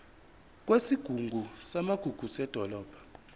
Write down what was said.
kwesigungu samagugu sedolobha